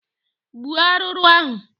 Gbuo arụrụ ahụ!